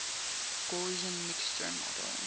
gaussian mixture model